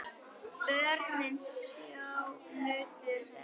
Börnin sjö nutu þess.